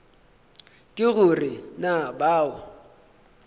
ke go re na bao